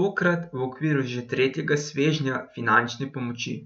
tokrat v okviru že tretjega svežnja finančne pomoči.